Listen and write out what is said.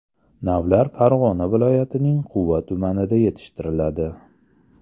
Navlar Farg‘ona viloyatining Quva tumanida yetishtiriladi.